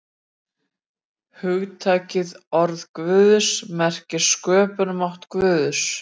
Hugtakið orð Guðs merkir sköpunarmátt Guðs.